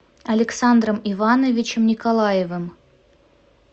александром ивановичем николаевым